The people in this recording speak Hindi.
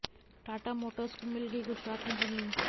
टाटा मोटर्स को मिल गई गुजरात में जमीन